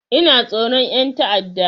Ina tsoron ƴan ta'adda